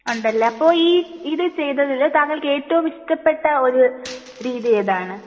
ഉണ്ടല്ലേ അപ്പൊ ഈ ഇത് ചെയ്തതിൽ താങ്കൾക്ക് ഏറ്റവും ഇഷ്ടപെട്ട ഒരു രീതി ഏതാണ്